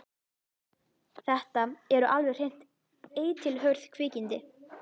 Þetta eru alveg hreint eitilhörð kvikindi.